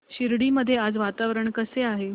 शिर्डी मध्ये आज वातावरण कसे आहे